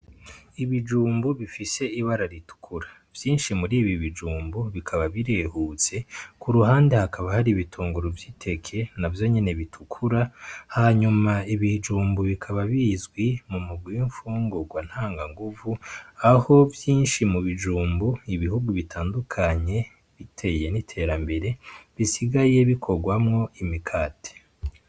Ibijumbu bifise ibara ritukura vyinshi muribi bijumbu bikaba birehutse ku ruhande hakaba hari ibitunguru vy'iteke na vyo nyene bitukura hanyuma ibijumbu bikaba bizwi mu mugwi w'imfungurwa ntanganguvu aho vyinshi mu bijumbu ibihugu bitandukanye biteye niterambere bisigaye bikorwamwo imikati.